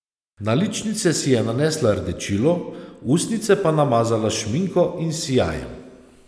Na ličnice si je nanesla rdečilo, ustnice pa namazala s šminko in sijajem.